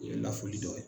O ye lafuli dɔ ye